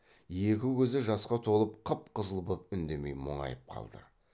екі көзі жасқа толып қып қызыл боп үндемей мұңайып қалды